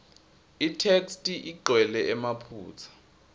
itheksthi igcwele emaphutsa